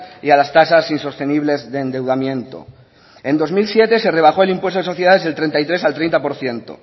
y a las tasas insostenibles de endeudamiento en dos mil siete se rebajó el impuesto de sociedades del treinta y tres al treinta por ciento